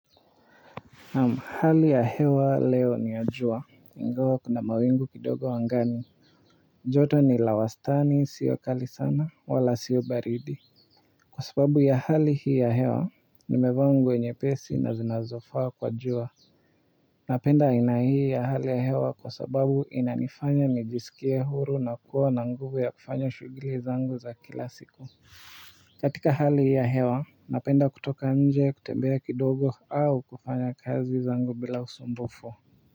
Namu hali ya hewa leo ni ya jua ingawa kuna mawingu kidogo angani joto ni la wastani sio kali sana wala sio baridi, kwa sababu ya hali hii ya hewa nimevaa nguo nyepesi na zinazofaa kwa jua napenda aina hii ya hali ya hewa, kwa sababu inanifanya nijisikie huru nakuwa na nguvu ya kufanya shughuli zangu za kila siku. Katika hali hii ya hewa napenda kutoka nje kutembea kidogo au kufanya kazi zangu bila usumbufu.